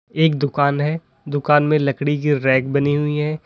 एक दुकान है दुकान में लकड़ी की रैक बनी हुई है।